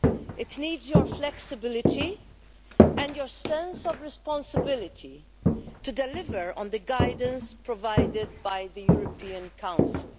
It needs your flexibility and your sense of responsibility to deliver on the guidance provided by the European Council.